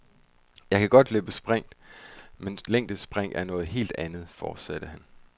Jeg kan godt løbe sprint, men længdespring er noget helt andet, fortsatte han.